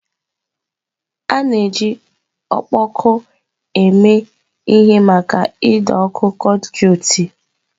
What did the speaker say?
A na-eji ọkpọkọ eme ihe maka ido ọ́kụ̀ konduiti.